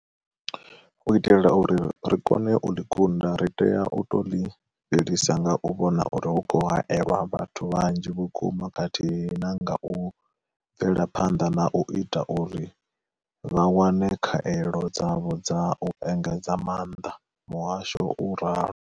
U itela uri ri kone u ḽi kunda, ri tea u tou ḽi fhelisa nga u vhona uri hu khou haelwa vhathu vhanzhi vhukuma khathihi na nga u bvela phanḓa na u ita uri vha wane khaelo dzavho dza u engedza maanḓa, muhasho u ralo.